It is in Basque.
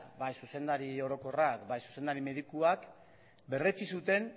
bai zuzendari orokorra bai zuzendari medikuak berretsi zuten